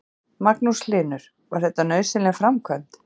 Magnús Hlynur: Var þetta nauðsynleg framkvæmd?